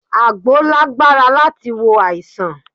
Àgbo lágbára láti wo àìsàn